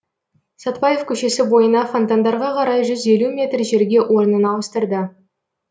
сәтбаев көшесі бойына фонтандарға қарай жүз елу метр жерге орнын ауыстырды